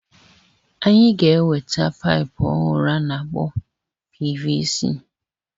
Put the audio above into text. Anyị ga-enweta paịpu ọhụrụ a na-akpọ PVC.